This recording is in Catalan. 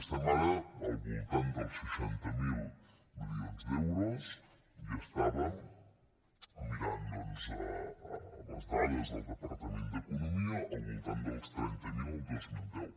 estem ara al voltant dels seixanta miler milions d’euros i estàvem mirant doncs les dades del depar·tament d’economia al voltant dels trenta miler el dos mil deu